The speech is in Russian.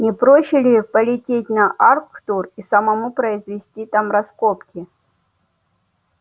не проще ли полететь на арктур и самому произвести там раскопки